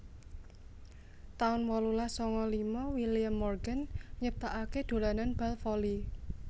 taun wolulas sanga lima William Morgan nyiptakaké dolanan bal voli